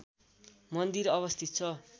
मन्दिर अवस्थित छ